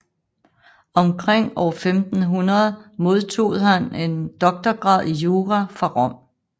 Omkring år 1500 modtag han en doktograd i jura fra Rom